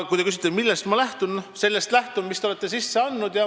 Kui te küsite, millest ma lähtun, siis ma vastan, et lähtun sellest, mille te olete menetlusse andnud.